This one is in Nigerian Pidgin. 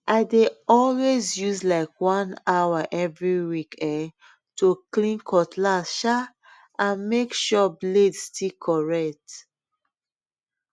i dey always use like one hour every week um to clean cutlass um and make sure blade still correct